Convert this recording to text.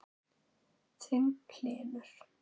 Þinn, Hlynur.